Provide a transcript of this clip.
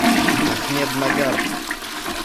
ахмеднагар